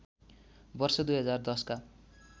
वर्ष २०१० का